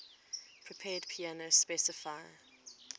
prepared piano specify